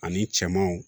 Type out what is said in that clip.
Ani cɛmanw